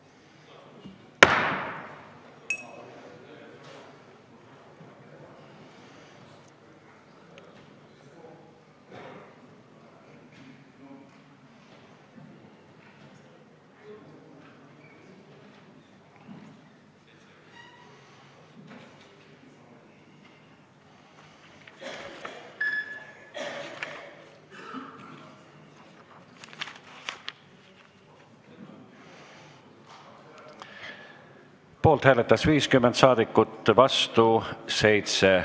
Hääletustulemused Poolt hääletas 50 saadikut, vastu 7.